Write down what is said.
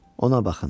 Ona baxın.